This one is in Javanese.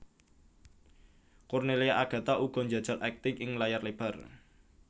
Cornelia Agatha uga njajal akting ing layar lebar